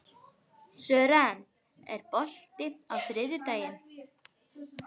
Sören, er bolti á þriðjudaginn?